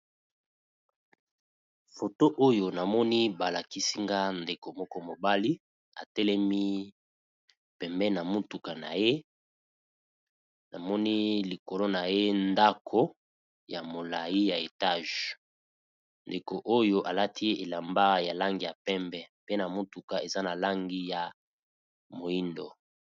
Foto oyo namoni ba lakisi nga ndeko moko mobali atelemi pembeni ya motuka na ye, namoni likolo na ye ndako ya molai ya etage ndeko oyo alati elamba ya langi ya pembe pe na motuka eza na langi ya moyindo.